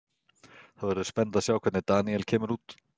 Það verður spennandi að sjá hvernig Daniel kemur út.